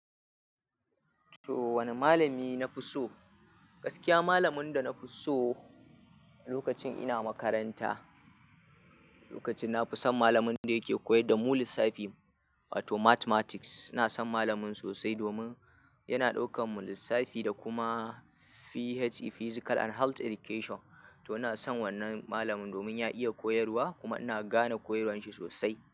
To wane malami na fi so? Gaskiya malamin da na fi so lokacin ina makaranta, lokacin na fi son malamin da yake koyar da mu lissafi wato mathematics. Ina san malamin sosai domin yana ɗaukar mu lissafi da kuma PHE Physical and Health Education. To ina san wannan malamin domin ya iya koyarwa kuma ina gane koyarwar shi sosai.